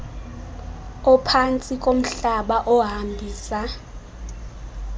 ophantsi komhlaba ohambisa